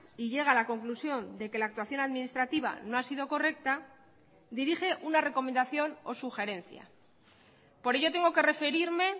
y llega a la conclusión de que la actuación administrativa no ha sido correcta dirige una recomendación o sugerencia por ello tengo que referirme